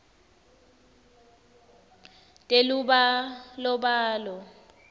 telubalobalo